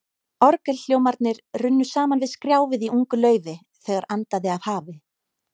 Orgelhljómarnir runnu saman við skrjáfið í ungu laufi, þegar andaði af hafi.